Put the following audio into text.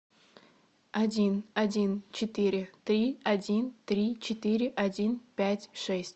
один один четыре три один три четыре один пять шесть